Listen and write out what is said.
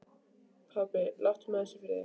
Pabbi, láttu mig aðeins í friði.